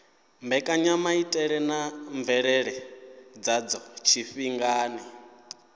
mbekanyamaitele na mvelele dzadzo tshifhingani